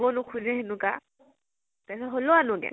দিবও নোখোজে, সেনেকুৱা । তাৰ পিছত হলেও আনোগে